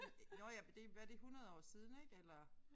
Det nåh ja det hvad det 100 år siden ik eller